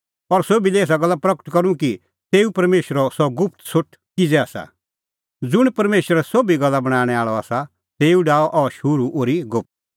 और सोभी लै एसा गल्ला प्रगट करूं कि तेऊ परमेशरो सह गुप्त सोठ किज़ै आसा ज़ुंण परमेशर सोभी गल्ला बणांणैं आल़अ आसा तेऊ डाहअ अह शुरू ओर्ही गुप्त